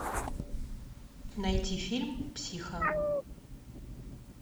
найти фильм психо